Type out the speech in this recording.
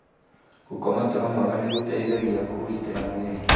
Gũkoma toro mwega nĩ gũteithagia kũgitĩra mwĩrĩ.